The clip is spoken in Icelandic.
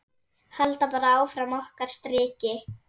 Halda bara áfram okkar striki.